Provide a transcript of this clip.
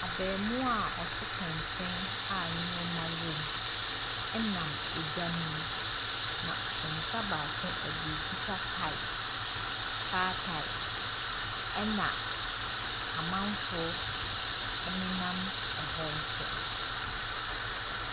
Abaamua a ɔso kɛntɛn a nneɛma wom nam dwa no mu, na ne nsa baako, ɔde akuta tae, kaa tae, ɛnna amanfoɔ nenam hɔ nso.